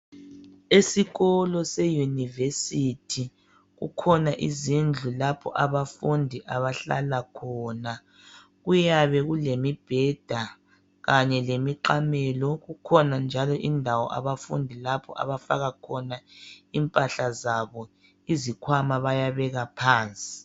Esikolo seyunivesithi kukhona izindlu lapho abafundi abahlala khona kuyabe kulemibheda kanye lemiqamelo. Kukhona njalo indawo abafundi lapho abafaka khona impahla zabo, izikhwama bayabeka phansi.